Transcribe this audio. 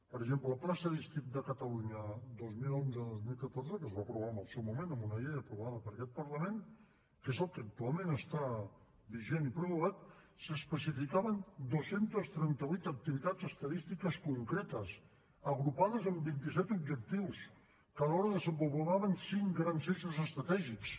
per exemple al pla estadístic de catalunya dos mil onze dos mil catorze que es va aprovar en el seu moment amb una llei aprovada per aquest parlament que és el que actualment està vigent i prorrogat s’hi especificaven dos cents i trenta vuit activitats estadístiques concretes agrupades en vinti set objectius que alhora desenvolupaven cinc grans eixos estratègics